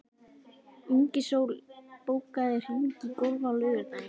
Ingisól, bókaðu hring í golf á laugardaginn.